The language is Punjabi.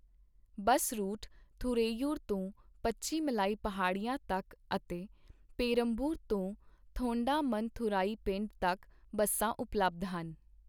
ਬੱਸ ਰੂਟਃ ਥੁਰੈਯੂਰ ਤੋਂ ਪਚੀਮਲਾਈ ਪਹਾੜੀਆਂ ਤੱਕ ਅਤੇ ਪੇਰੰਬਲੂਰ ਤੋਂ ਥੋਂਡਾਮਨਥੁਰਾਈ ਪਿੰਡ ਤੱਕ ਬੱਸਾਂ ਉਪਲੱਬਧ ਹਨ।